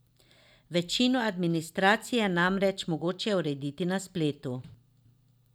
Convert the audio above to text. Večino administracije je namreč mogoče urediti na spletu.